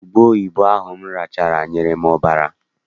Ubeoyibo ahụ m rachala nyere m ọbara.